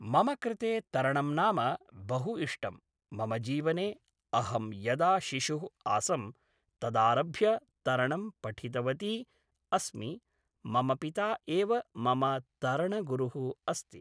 मम कृते तरणं नाम बहु इष्टं मम जीवने अहं यदा शिशुः आसं तदारभ्य तरणं पठितवती अस्मि मम पिता एव मम तरणगुरुः अस्ति